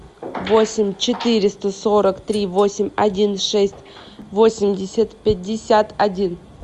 восемь четыреста сорок три восемь один шесть восемьдесят пятьдесят один